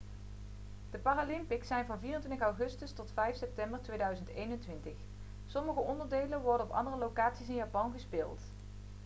de paralympics zijn van 24 augustus tot 5 september 2021 sommige onderdelen worden op andere locaties in japan gespeeld